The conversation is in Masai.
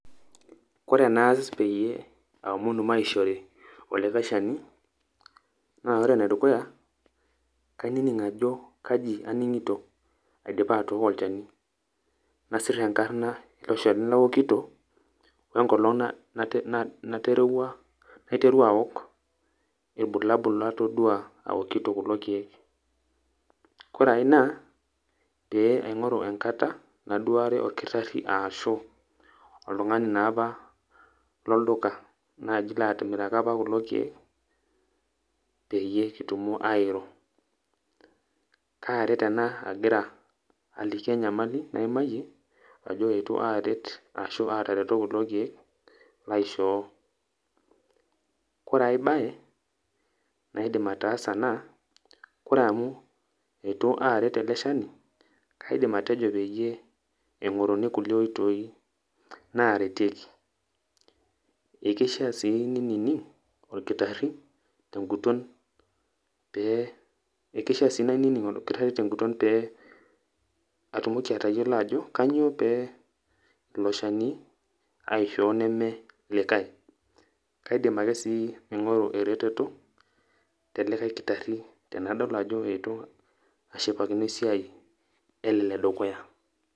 Kore enaas peyie aomonu maishori olikae shani, na ore enedukuya, kainining' ajo kaji aning'ito, aidipa atooko olchani. Nasir enkarna ilo shani laokito, wenkolong' naterewua naiterua aok, ilbulabul latodua aokito kulo keek. Kore ai naa, pee aing'oru enkata, naduare orkitarri ashu oltung'ani naapa lolduka, naji latimiraka apa kulo keek, peyie kitumo airo. Karet ena agira aliki enyamali naimayie, ajo itu aret ashu atareto kulo keek, laishoo. Kore ai baye, naidim ataasa naa, kore amu eitu aret ele shani, kaidim atejo peyie eing'oruni kulie oitoi naretieki. Ekeishaa si ninining' orkitarri, teguton pe, ekeishaa si nainining' orkitarri teguton pe atumoki atayiolo ajo kanyioo pe ilo shani aishoo neme likae. Kaidim ake sii aing'oru ereteto telikae kitarri, enadol ajo eitu ashipakino esiai ele ledukuya.